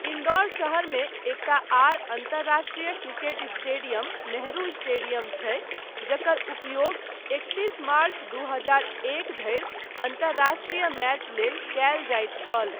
इन्दौर शहरमे एकटा आर अन्तर्राष्ट्रीय क्रिकेट स्टेडियम नेहरू स्टेडियम छै, जकर उपयोग एकतीस मार्च दू हजार एक धरि अन्तर्राष्ट्रीय मैच लेल कयल जाइत छल।